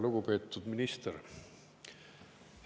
Lugupeetud minister!